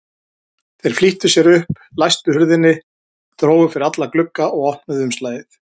Þeir flýttu sér upp, læstu hurðinni, drógu fyrir alla glugga og opnuðu umslagið.